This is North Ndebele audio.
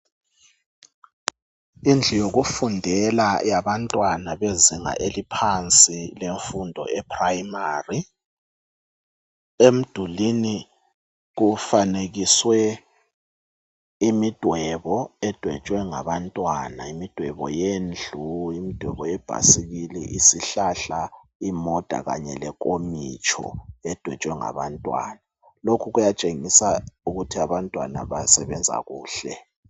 Indlu yokufundela yabantwana bezinga eliphansi lemfundo yePrimary. Emdulini kufanekiswe imidwebo edwetshwe ngabantwana, imidwebo yendlu, imidwebo yebhasikili, isihlahla, imota kanye lenkomitsho edwetshwe ngabantwana. Lokhu kuyatshengisa ukuthi abantwana basebenza kuhle.